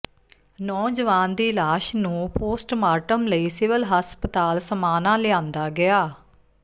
ਨੌਜਵਾਨ ਦੀ ਲਾਸ਼ ਨੂੰ ਪੋਸਟਮਾਰਟਮ ਲਈ ਸਿਵਲ ਹਸਪਤਾਲ ਸਮਾਣਾ ਲਿਆਂਦਾ ਗਿਆ